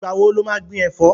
Ìgbà wo lo má gbin ẹ̀fọ́?